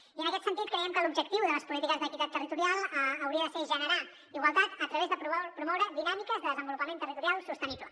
i en aquest sentit creiem que l’objectiu de les polítiques d’equitat territorial hauria de ser generar igualtat a través d’aprovar o promoure dinàmiques de desenvolupament territorial sostenible